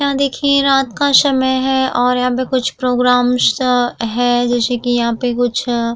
यहाँ देखियें रात का समय है और यहाँ पे कुछ प्रोग्राम शा है जैसे कि यहाँ पे कुछ --